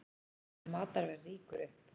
Matarverð rýkur upp